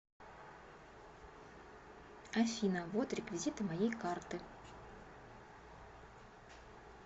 афина вот реквизиты моей карты